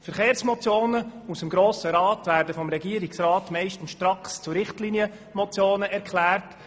Verkehrsmotionen aus dem Grossen Rat werden vom Regierungsrat meistens stracks zu Richtlinienmotionen erklärt.